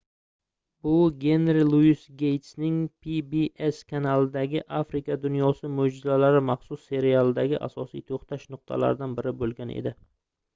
bu genri luis geystning pbs kanalidagi afrika dunyosi moʻjizalari maxsus serialidagi asosiy toʻxtash nuqtalaridan biri boʻlgan edi